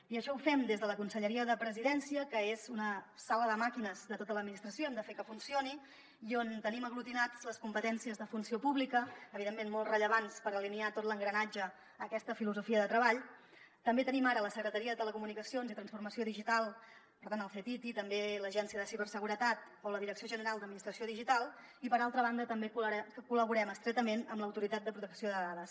i això ho fem des de la conselleria de presidència que és una sala de màquines de tota l’administració hem de fer que funcioni i on tenim aglutinades les competències de funció pública evidentment molt rellevants per alinear tot l’engranatge a aquesta filosofia de treball també tenim ara la secretaria de telecomunicacions i transformació digital per tant el ctti també l’agència de ciberseguretat o la direcció general d’administració digital i per altra banda també col·laborem estretament amb l’autoritat de protecció de dades